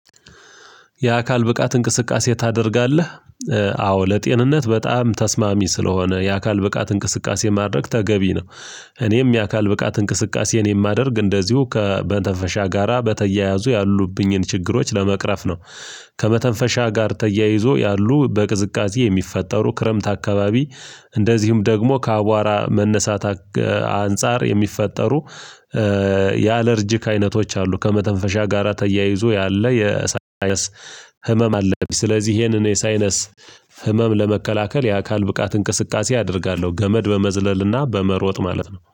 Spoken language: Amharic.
የአካል ብቃት እንቅስቃሴ ታደርጋለህ? አዎ ለጤንነት በጣም ተስማሚ ስለሆነ የአካል ብቃት እንቅስቃሴ ማድረግ ተገቢ ነው። እኔም የአካል ብቃት እንቅስቃሴን የማደርግ እንደዚሁ ከመተፈሻ ጋራ በተያያዙ ያሉብኝን ችግሮች ለመቅረፍ ነው። ከመተንፈሻ ጋር ተያይዞ ያሉ በቅዝቃዜ የሚፈጠሩ ክረምት አካባቢ እንደዚሁም ደግሞ ከአቧራ መነሳት አንፃር የሚፈጠሩ የአለርጂክ አይነቶች አሉ ከመተንፈሻ ጋራ ተያይዞ ያለ የሳይነስ ሀመም አለብኝ። ስለዚህ ይሄንን የሳይነስ ህመም ለመከላከል የአካል ብቃት እንቅስቃሴ አደርጋለሁ ገመድ በመዝለልና በመሮጥ ማለት ነው